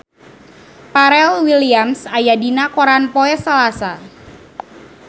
Pharrell Williams aya dina koran poe Salasa